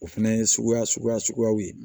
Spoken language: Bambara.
O fɛnɛ ye suguya suguya suguyaw ye